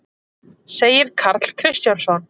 segir Karl Kristjánsson.